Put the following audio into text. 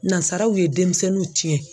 Nansaraw ye denmisɛnninw tiɲɛ.